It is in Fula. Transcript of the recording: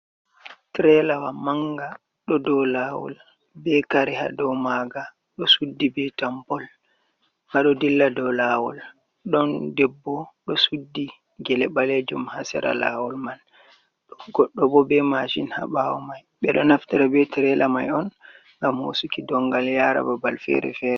Trelawa manga ɗo dou lawol be kare ha dou maga ɗo suddi be tambol, nga ɗo dilla dou lawol ɗon debbo ɗo suddi gele ɓalejum ha sera lawol man, goɗɗo bo be masin ha ɓawo mai ɓeɗo naftara be trela mai on ngam hosuki dongal yara babal fere fere.